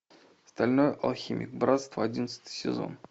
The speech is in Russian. стальной алхимик братство одиннадцатый сезон